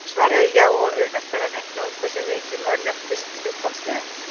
Svarið er já, og auðvelt er að reikna út hversu mikið maður léttist hlutfallslega.